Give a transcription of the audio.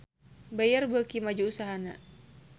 Bayer beuki maju usahana